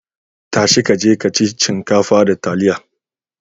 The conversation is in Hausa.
Ta shi ka je ka ci shinkafa da taliya.